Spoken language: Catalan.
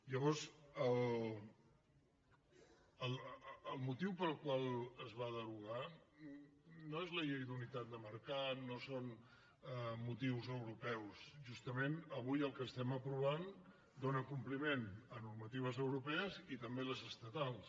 llavors el motiu pel qual es va derogar no és la llei d’unitat de mercat no són motius europeus justament avui el que estem aprovant dóna compliment a norma·tives europees i també les estatals